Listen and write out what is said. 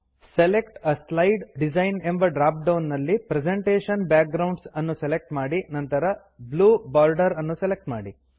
select a slide design ಎಂಬ drop down ನಲ್ಲಿ presentation backgrounds ನ್ನು ಸೆಲೆಕ್ಟ್ ಮಾಡಿ ನಂತರ ಬ್ಲೂ ಬಾರ್ಡರ್ ನ್ನು ಸೆಲೆಕ್ಟ್ ಮಾಡಿ